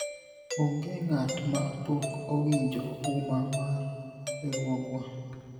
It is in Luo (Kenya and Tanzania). onge ng'at ma pok owinjo uma mar riwruogwa